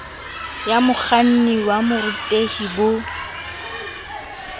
ya mokganni wa borutehi bo